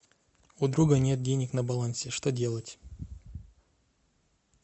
у друга нет денег на балансе что делать